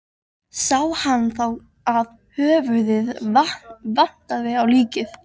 Sá hann þá að höfuðið vantaði á líkið.